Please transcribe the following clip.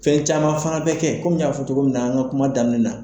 Fɛn caman fɛnɛ be kɛ kɔmi n y'a fɔ cogo min na an ka kuma daminɛ na